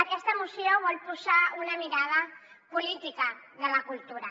aquesta moció vol posar una mirada política en la cultura